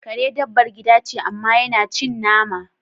Kare dabbar gida ce, amma yana cin nama.